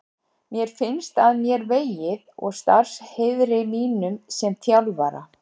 Mér finnst að mér vegið og starfsheiðri mínum sem þjálfara.